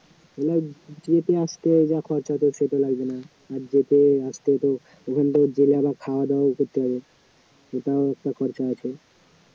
যেতে আসতে যা খরচা হত সেটা লাগবে না আর যেতে আসতে তো ওখানটায় গেলে আবার খাওয়াদাওয়া করতে হবে সেটাও একটা খরচা আছে